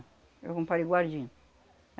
É um.